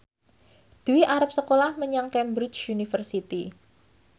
Dwi arep sekolah menyang Cambridge University